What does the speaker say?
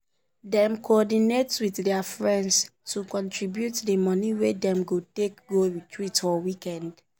dem coordinate with their friends to contribute the money wey dem go take go retreat for weekend.